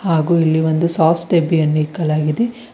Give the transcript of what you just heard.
ಹಾಗೂ ಇಲ್ಲಿ ಒಂದು ಸಾಸ್ ಡಬ್ಬಿಯನ್ನು ಇಕ್ಕಲಾಗಿದೆ.